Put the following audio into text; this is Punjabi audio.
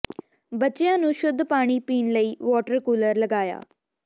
ਬੱਚਿਆਂ ਨੂੰ ਸ਼ੁੱਧ ਪਾਣੀ ਪੀਣ ਲਈ ਵਾਟਰ ਕੂਲਰ ਲਗਾਇਆ